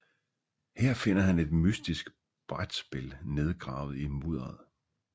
Her finder han et mystisk brætspil nedgravet i mudderet